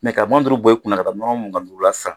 Mɛ ka muga ni duru bɔ i kunna, ka taa nɔnɔ muga ni duru la san.